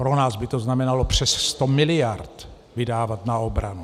Pro nás by to znamenalo přes 100 miliard vydávat na obranu.